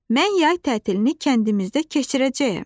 Mən yay tətilini kəndimizdə keçirəcəyəm.